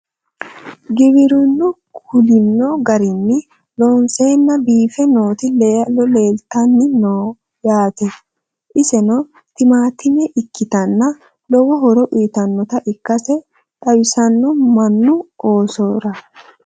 Giwirinnu kulinno garinni loonseenna biiffe nootti laallo leelittanni noo yaatte. Isenno timaattimme ikkittanna lowo horo uyiittannotta ikkasse xawissanno mannu oosora